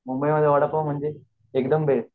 मुंबई मध्ये वडापाव म्हणजे एकदम बेस्ट ही तर तु खरंच